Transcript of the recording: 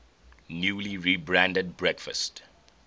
newly rebranded breakfast